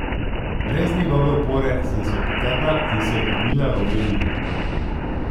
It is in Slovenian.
Brez njegove opore sem se opotekla in se oklenila roba mize.